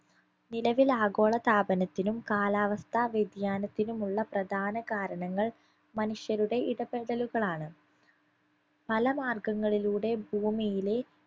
നിലവിൽ ആഗോളതാപനത്തിനും കാലാവസ്ഥാ വ്യതിയാനത്തിനുമുള്ള പ്രധാന കാരണങ്ങൾ മനുഷ്യരുടെ ഇടപെടലുകളാണ് പല മാർഗങ്ങളിലൂടെ ഭൂമിയിലെ